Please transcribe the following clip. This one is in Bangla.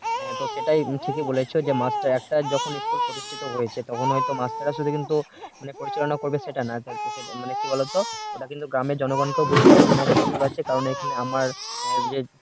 জনগণের রায়ে হয়তো কিছু ক্ষতি করতে চাইছে তাহলে তো হবে না school প্রতিষ্ঠিত হয়েছে তখন আসলে মাস্টার হয়তো আসলে আসলে কিন্তু মানে পরিচালনা করবে সেটা না তো সেটা মানে কি বলতো ওটা কিন্তু গ্রামের জনগন কেউ বুঝতে হবে যে না একটা school আছে কারণ এখানে আমার যে